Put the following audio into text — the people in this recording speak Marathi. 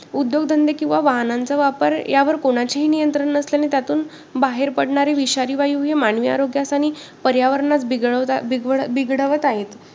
उद्योगधंदे किंवा वाहनांचा वापर यावर कुणाचेही नियंत्रण नसल्याने त्यातून बाहेर पडणारे विषारी वायु हे मानवी आरोगयास आणि पर्यावरणात बिघडवत आहेत.